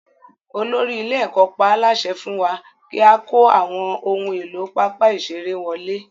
Olórí ilé-ẹ̀kọ́ pa á láṣẹ fún wa kí a kó àwọn ohun èlò pápá ìṣeré wọlé.